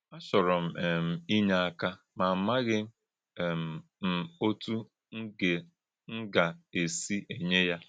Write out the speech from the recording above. ‘Àchọ̄rò̄ M̄ um Ínyè̄ Àkà̄, Má̄ Àmà̄ghị̄ um M̄ Òtú̄ M̄ Gà - M̄ Gà - èsí̄ Ényè̄ Yá.’